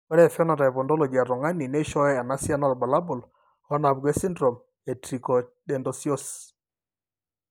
Ore ephenotype ontology etung'ani neishooyo enasiana oorbulabul onaapuku esindirom eTricho dento osseouse.